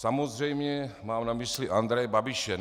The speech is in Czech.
Samozřejmě mám na mysli Andreje Babiše.